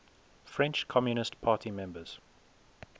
french communist party members